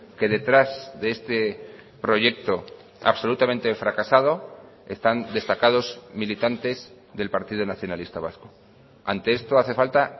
que detrás de este proyecto absolutamente fracasado están destacados militantes del partido nacionalista vasco ante esto hace falta